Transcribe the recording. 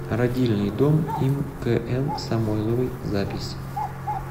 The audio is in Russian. родильный дом им кн самойловой запись